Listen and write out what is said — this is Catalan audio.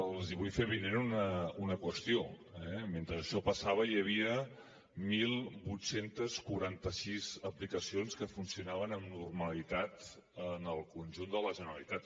els vull fer avinent una qüestió mentre això passava hi havia divuit quaranta sis aplicacions que funcionaven amb normalitat en el conjunt de la generalitat